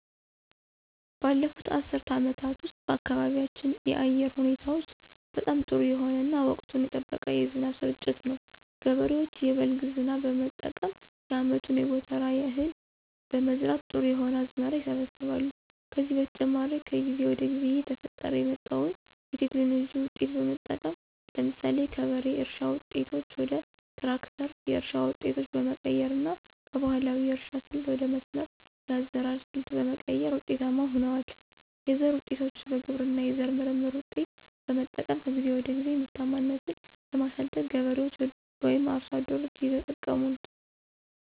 ባለፉት አስርት አመታት ውስጥ በአካባቢያችን የአየር ሁኔታዎች በጣም ጥሩ የሆነ እና ወቅቱን የጠበቀ የዝናብ ስርጭት ነው። ገበሬዎች የበልግ ዝናብ በመጠቀም የአመቱን የጎተራ እህል በመዝራት ጥሩ የሆነ አዝመራ ይሰበስባሉ። ከዚህ በተጨማሪ ከጊዜ ወደ ጊዜ እየተፈጠረ የመጣዉን የቴክኖሎጂ ዉጤቶች በመጠቀም ለምሳሌ ከበሬ እርሻ ዉጤቶች ወደ ትራክተር የእርሻ ዉጤቶች በመቀየር እና ከባህላዊ የእርሻ ስልት ወደ መስመር የአዘራር ሰልት በመቀየር ውጤታማ ሁነዋል። የዘር ዉጤቶችን በግብርና የዘር ምርምር ውጤቶች በመጠቀም ከጊዜ ወደ ጊዜ ምርታማነትን በማሳደግ ገበሬዎች ወይም አርሶ አደሮች እየተጠቀሙ ነው።